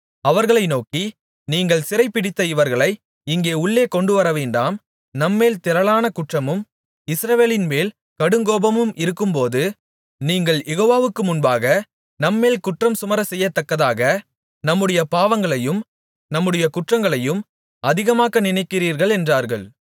அவர்களை நோக்கி நீங்கள் சிறைபிடித்த இவர்களை இங்கே உள்ளே கொண்டுவரவேண்டாம் நம்மேல் திரளான குற்றமும் இஸ்ரவேலின்மேல் கடுங்கோபமும் இருக்கும்போது நீங்கள் யெகோவாவுக்கு முன்பாக நம்மேல் குற்றம் சுமரச்செய்யத்தக்கதாக நம்முடைய பாவங்களையும் நம்முடைய குற்றங்களையும் அதிகமாக்க நினைக்கிறீர்கள் என்றார்கள்